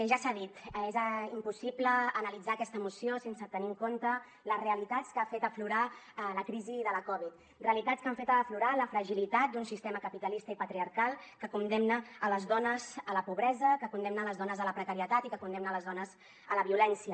ja s’ha dit és impossible analitzar aquesta moció sense tenir en compte les realitats que ha fet aflorar la crisi de la covid realitats que han fet aflorar la fragilitat d’un sistema capitalista i patriarcal que condemna les dones a la pobresa que condemna les dones a la pobresa que condemna les dones a la precarietat i que condemna les dones a la violència